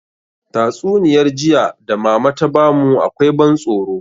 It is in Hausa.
Tatsuniyar jiya da mama ta bamu akwai ban tsoro